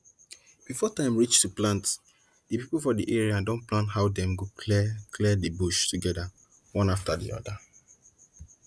before time reach to plant the people for the area don plan how dem go clear clear the bush together one after the other